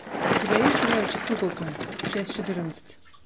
у тебя есть сериальчик куколка часть четырнадцать